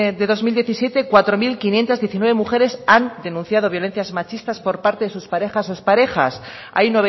del dos mil diecisiete cuatro mil quinientos diecinueve mujeres han denunciado violencias machistas por parte de sus parejas o ex parejas hay